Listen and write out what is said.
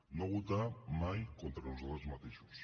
no votar mai contra nosaltres mateixos